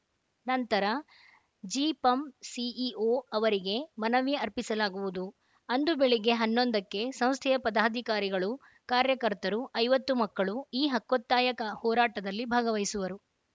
ನಂತರ ಜಿಪಂ ಸಿಇಒ ಅವರಿಗೆ ಮನವಿ ಅರ್ಪಿಸಲಾಗುವುದು ಅಂದು ಬೆಳಿಗ್ಗೆ ಹನ್ನೊಂದಕ್ಕೆ ಸಂಸ್ಥೆಯ ಪದಾಧಿಕಾರಿಗಳು ಕಾರ್ಯಕರ್ತರು ಐವತ್ತು ಮಕ್ಕಳು ಈ ಹಕ್ಕೊತ್ತಾಯಕ ಹೋರಾಟದಲ್ಲಿ ಭಾಗವಹಿಸುವರು